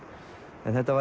en þetta